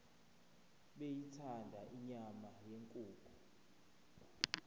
beyithanda inyama yenkukhu